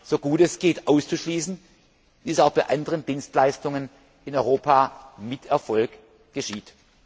so gut es geht auszuschließen, wie es auch bei anderen Dienstleistungen in Europa mit Erfolg geschieht.